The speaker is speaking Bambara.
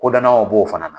Kodɔnnaw b'o fana na